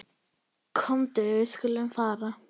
Komdu, við skulum fara.